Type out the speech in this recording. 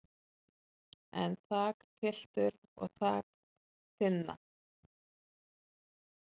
en þakpiltur og þak þynna